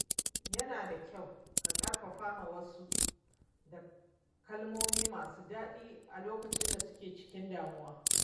Yana da kyau a ƙarfafa wasu da kalmomi masu daɗi a lokacin da suke cikin damuwa.